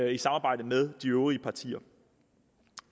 i samarbejde med øvrige partier